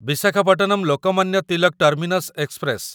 Visakhapatnam Lokmanya Tilak terminus express